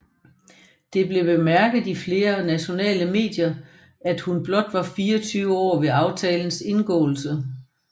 Det blev bemærket i flere nationale medier at hun blot var 24 år ved aftalens indgåelse